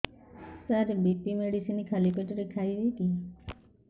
ସାର BP medicine ଖାଲି ପେଟରେ ଖାଇବି କି